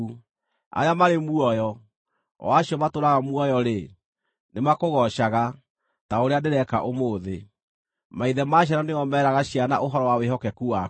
Arĩa marĩ muoyo, o acio matũũraga muoyo-rĩ, nĩmakũgoocaga, ta ũrĩa ndĩreka ũmũthĩ; maithe ma ciana nĩo meraga ciana ũhoro wa wĩhokeku waku.